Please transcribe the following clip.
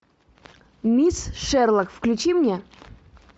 мисс шерлок включи мне